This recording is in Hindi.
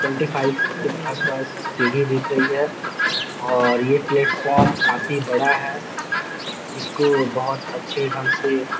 ट्वेंटी फाइफ के आस-पास सीढ़ी दिख रही है और ये प्लेटफॉर्म काफी बड़ा है इसको बहोत अच्छे ढंग से --